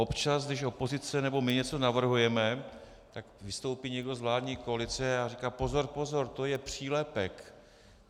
Občas, když opozice nebo my něco navrhujeme, tak vystoupí někdo z vládní koalice a říká pozor, pozor, to je přílepek.